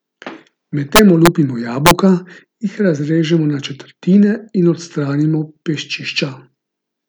Medtem olupimo jabolka, jih razrežemo na četrtine in odstranimo peščišča.